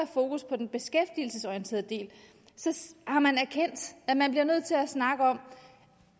fokus på den beskæftigelsesorienterede del har man erkendt at man bliver nødt til at snakke om